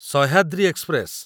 Sahyadri express